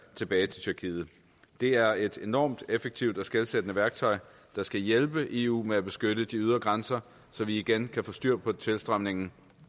tilbage til tyrkiet det er et enormt effektivt og skelsættende værktøj der skal hjælpe eu med at beskytte de ydre grænser så vi igen kan få styr på tilstrømningen